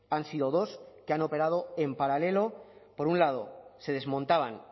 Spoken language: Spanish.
han sido dos que han operado en paralelo por un lado se desmontaban